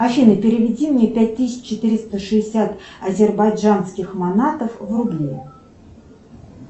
афина переведи мне пять тысяч четыреста шестьдесят азербайджанских манатов в рубли